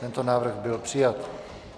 Tento návrh byl přijat.